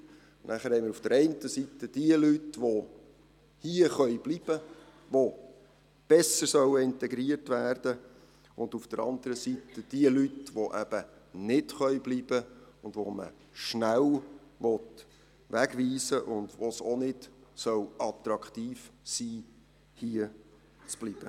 Dann haben wir auf der einen Seiten die Leute, die hier bleiben können, die besser integriert werden sollen, und auf der anderen Seite jene Leute, die eben nicht bleiben können, die man schnell wegweisen will, und für die es auch nicht attraktiv sein soll, hier zu bleiben.